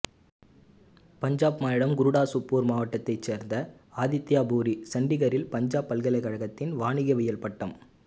பஞ்சாப் மாநிலம் குருடாசுப்பூர் மாவட்டத்தைச் சேர்ந்த ஆதித்யா பூரி சண்டிகரில் பஞ்சாப் பல்கலைக்கழகத்தில் வணிகவியல் பட்டப்